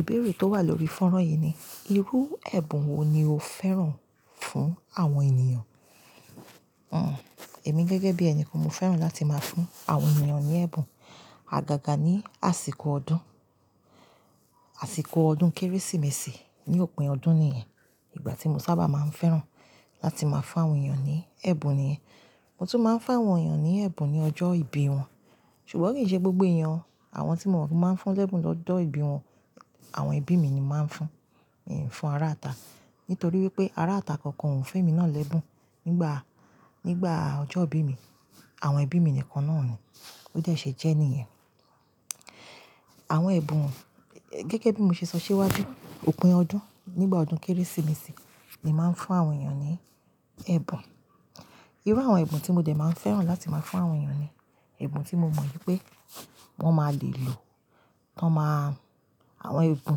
Ìbéèrè tó wà lórí fọ́nrán yìí ni, irú ẹ̀bùn wo ni o fẹ́ràn fún àwọn ènìyàn? Hmm, èmi gẹ́gẹ́ bí ẹni kan mo fẹ́ràn láti máa fún àwọn ènìyàn ní ẹ̀bùn, àgàgà ní àsìkò ọdún, àsìkọ ọdún Kérésìmesì, ní òpin ọdún nìyẹn. Ìgbà tí mo sábà máa ń fẹ́ràn láti máa fún àwọn ènìyàn ní ẹ̀bùn nìyẹn. Mo tún máa ń fún àwọn ènìyàn ní ẹ̀bùn ní ọjọ́ ìbí wọn. Ṣùgbọ́n kì í ṣe gbogbo eeyàn o. Àwọn tí mo mọ̀ pe mo máa ń fún l'ẹ́bùn lọ́jọ́ ìbí wọn, àwọn ẹbí mi ni mo màá ń fún. Mì í fún ará ita. Nítorí wípé ará ita kankan ò fún emi náà l'ẹ́bùn nígbà ọjọ́ ìbí mi. Àwọn ẹbí mi nìkan náà ni. Bo dẹ ṣé jẹ́ níyẹn. Àwọn ẹ̀bùn, gẹ́gẹ́ bí mo ṣe sọ síwájú, òpin ọdún, nígbà ọdún Kérésìmesì ni màá ń fún àwọn ènìyàn ní ẹ̀bùn. Irú àwọn ẹ̀bùn tí mo dẹ̀ máa ń fẹ́ràn láti máa fún àwọn ènìyàn ni, ẹ̀bùn tí mo mọ̀ wípé wọ́n máa le lò. Wọ́n máà, àwọn ẹ̀bùn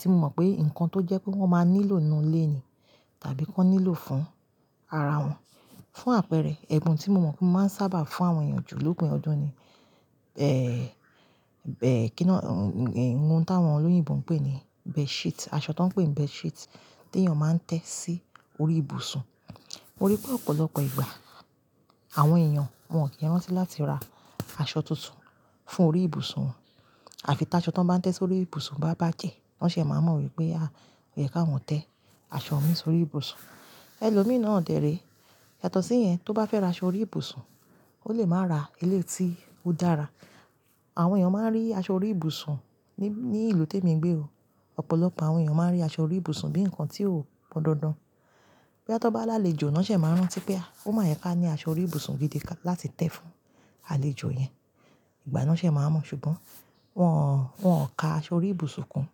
tí mo mọ̀ pé nǹkan tó jẹ́ pé wọ́n máa nílò ni inú ilé ní tàbí kí wọ́n nílò fún ara wọn. Fún àpẹẹrẹ, ẹ̀bùn tí mo mọ̀ pé màá ń sábà fún àwọn ènìyàn jù lópin ọdún ni, ohun táwọn olóyìnbo ń pè aṣọ tó ń pè ní bedsheet tí ènìyàn máa ń tẹ́ sí orí ìbùsùn. Mo rí pé ọ̀pọ̀lọpọ̀ ìgbà àwọn ènìyàn wọ́n kì í rántí láti ra aṣọ tuntun fún orí ìbùsùn wọn. À fi tí aṣọ tó ń bá tẹ́ sórí ìbùsùn wọn bá bá jẹ́, wọ́n ṣé máa mọ̀ wípé ò yẹ k'áwọn tẹ́ aṣọ mi sórí ìbùsùn. Ẹ̀lòmíi náà dẹ̀ re. Yàtọ̀ sí yẹn, tó bá fẹ́ ra aṣọ orí ìbùsùn, o lè máa ra eleyi to dára. Àwọn ènìyàn máa ń rí aṣọ orí ìbùsùn ní, ní ìlú tí èmi ń gbé o. Ọ̀pọ̀lọpọ̀ àwọn ènìyàn máa ń rí aṣọ orí ìbùsùn bí ǹkan tí ó pọn dandan. Boya ti wọ́n ba l'àlejò, na ṣẹ máa ń rántí pé ó máa yẹ ká ní aṣọ orí ìbùsùn gidi láti tẹ́ fún alèjò yẹn. Ìgbà yẹn na ṣé máa n mọ̀. Ṣùgbọ́n wọn ò ka aṣọ orí ìbùsùn kún.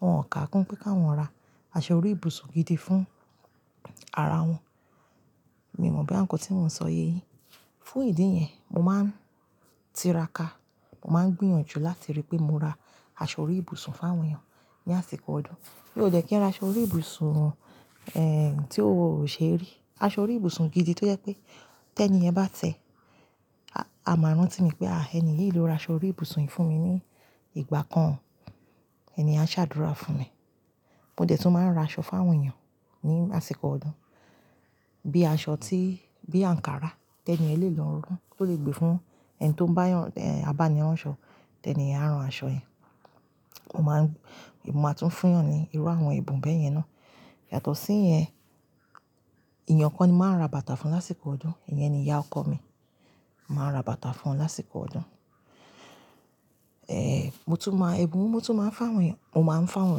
Wọn ò ka kún pẹ́ ki áwọn ra aṣọ orí ìbùsùn gidi fún ara wọn. Mi ò mọ̀ boya nkan tí mò ń sọ yéyí. Fún ìdí iyẹn, mo máa ń tiraka. Mo máa ń gbìyànjú láti rí pé mo ra aṣọ orí ìbùsùn fún àwọn ènìyàn ní àsìkò ọdún. Mí ò dẹ́ kí n ra aṣọ orí ìbùsùn, tí o ṣe rí. Aṣọ orí ìbùsùn gidi tó jẹ́ pé tẹ́ni yẹn bá tẹ́, a máa rántí mi pé, ah ẹni yìí ló ra aṣọ orí ìbùsùn yìí fún mi ní ìgbà kan. Ẹni yen a se àdúrà fún mi mo de tun maa n raso fún àwọn eeyan lásìkò ọdún bí aṣọ tí, bí àǹkárá ti ẹ́ni yẹn lèlo ran. Ó lè gbé fún ẹni tó n bá yàn, abání ránṣọ, tẹ́ni yẹn a ran aṣọ yẹn. Mo máa ń, mo máa tún fún eeyan ní irú àwọn ẹ̀bùn bẹ́ẹ̀ yẹn ná. Yàtọ̀ síyẹn, èeyàn kan ni màá ra bàtà fún lásìkò ọdún. Ìyẹn ni ìyá ọkọ mi. Màá ra bàtà fún wọn lásìkò ọdún. Mo tún máa, ẹ̀bùn wo mo tún máa ń fún áwọn èeyàn, mo máa ń fún áwọn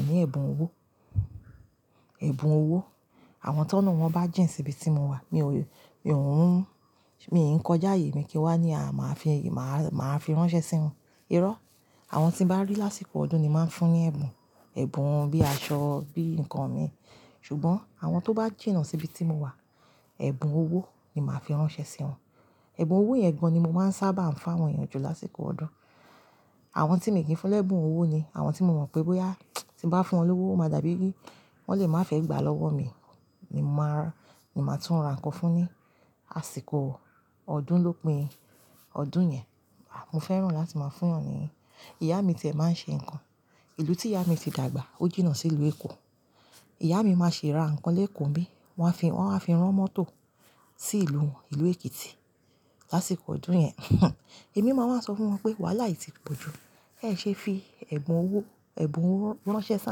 eeyan ní ẹ̀bùn owó. Ẹ̀bùn owo, àwọn ti ọ̀nà won ba jin si ibi ti mo wa mio kin kọjá aye kin wa ni maa fi ránṣẹ́ si won iro, àwọn ti n ba ri lásìkò ọdún ni mo maa n fún ni ẹ̀bùn ẹ̀bùn bíi aṣọ, bíi ǹkan mi. Ṣùgbọ́n àwọn tó bá jìnà síbi tí mo wà, ẹ̀bùn owó ni màá fi ránṣẹ́ sí wọn. Ẹ̀bùn owó yen gan ni mo máa ń sábà ń fún áwọn eeyàn jù lásìkò ọdún. Àwọn tí mi kì n fún lẹ́bùn owó ni àwọn tí mo mọ̀ pé bóyá tí n bá fún wọn lówó, o máa dàbí, wọ́n lè máa fẹ́ gbà lọ́wọ́ mi. Ni mò máa, ni màá tún ra ǹkan fún ni àsìkò ọdún lópin ọdún yẹn. Mo fẹ́ràn láti maa fún eeyan ni ìyá mi tìẹ̀ máa ń ṣe ǹkan. Ìlú tí ìyá mi ti dàgbà, ó jìnà sí ìlú Èkó. Ìyá mi máa ṣi ra ǹkan lékò nbí. Wọ́n á fi, wọ́n áwa fi rán mọ́tò sí ìlú won, ìlú Èkìtì lásìkò ọdún yẹn. Emi maa wa so fún won pe wàhálà yi ti poju ẹ ṣé fi ẹ̀bùn owó, ẹ̀bùn owo ránṣẹ́ si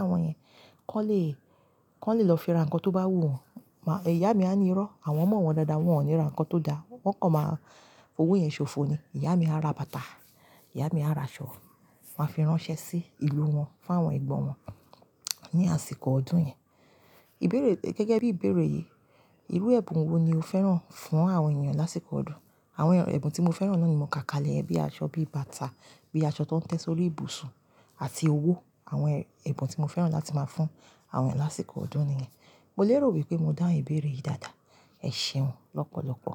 áwọn yẹn. Kọ́ le, kọ́ le lọ fi ra ǹkan tó bá wù wọn. Iya mi a ni iro, àwọn mo won dada won o ni ra nkan to da wọ́n kọ̀ máa, fi owó yẹn ṣòfò ni. Ìyá mi á ra bàtà. Ìyá mi á ra aṣọ. Wọn á fi ránṣẹ́ sí ìlú wọn fún àwọn ẹ̀gbọ́n wọn ní àsìkò ọdún yẹn. Ìbéèrè, gẹ́gẹ́ bí ìbéèrè yìí, irú ẹ̀bùn wo ni o fẹ́ràn fún àwọn ènìyàn lásìkò ọdún? Àwọn ẹ̀bùn tí mo fẹ́ràn náà ni mò ká kalẹ̀ ẹ bíi aṣọ, bí bàtà, bí aṣọ tó ń tẹ́ sórí ìbùsùn àti owó. Àwọn ẹ̀bùn tí mo fẹ́ràn láti máa fún àwọn ẹ̀yan lásìkò ọdún nìyẹn. Mo lèrò wípé mo dáhun ìbéèrè yìí dáadáa. Ẹ ṣeun lọ́pọ̀lọpọ̀.